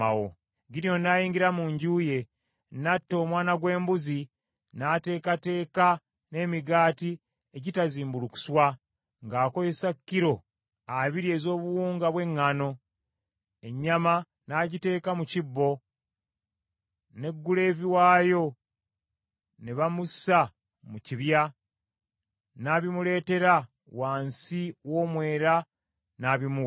Gidyoni n’ayingira mu nju ye, n’atta omwana gw’embuzi n’ateekateeka n’emigaati egitazimbulukuswa ng’akozesa kilo abiri ez’obuwunga bw’eŋŋaano. Ennyama n’agiteeka mu kibbo; ne guleevi waayo ne bamussa mu kibya, n’abimuleetera wansi w’omwera n’abimuwa.